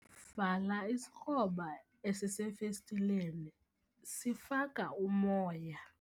Vala isikroba esisefestileni sifaka umoya.